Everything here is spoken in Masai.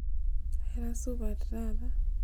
aira supat taata